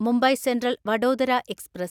Mumbai central Vadodara express